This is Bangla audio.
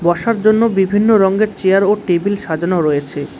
বসার জন্য বিভিন্ন রঙ্গের চেয়ার ও টেবিল সাজানো রয়েছে।